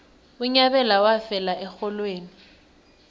unyabela wafela erholweni